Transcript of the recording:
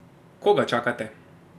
Koga čakate?